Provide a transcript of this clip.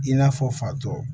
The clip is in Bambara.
I n'a fɔ fatɔ